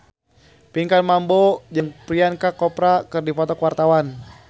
Pinkan Mambo jeung Priyanka Chopra keur dipoto ku wartawan